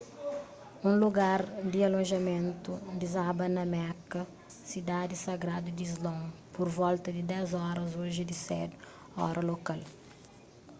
un lugar di alojamentu dizaba na meka sidadi sagradu di islon pur volta di 10 oras oji di sedu ora lokal